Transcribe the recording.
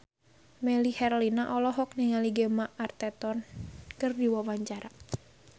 Melly Herlina olohok ningali Gemma Arterton keur diwawancara